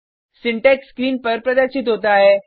syntax screen पर प्रदर्शित होता है